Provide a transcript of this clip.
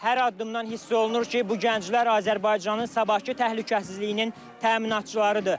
Hər addımdan hiss olunur ki, bu gənclər Azərbaycanın sabahkı təhlükəsizliyinin təminatçılarıdır.